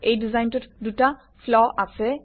এই ডিজাইনটোত দুটা ফ্ল আছে